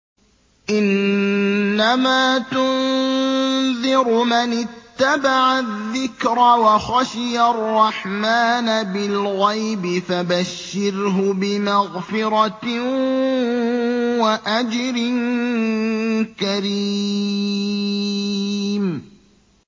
إِنَّمَا تُنذِرُ مَنِ اتَّبَعَ الذِّكْرَ وَخَشِيَ الرَّحْمَٰنَ بِالْغَيْبِ ۖ فَبَشِّرْهُ بِمَغْفِرَةٍ وَأَجْرٍ كَرِيمٍ